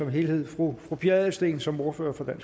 helhed fru pia adelsteen som ordfører for